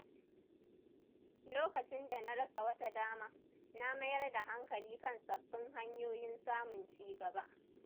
Lokacin da na rasa wata dama, na mayar da hankali kan sabbin hanyoyin samun ci gaba.